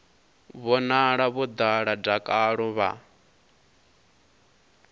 vhonala vho ḓala dakalo vha